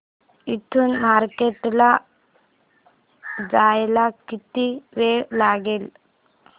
इथून मार्केट ला जायला किती वेळ लागेल